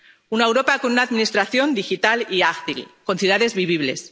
una Europa con una administración digital y ágil, con ciudades vivibles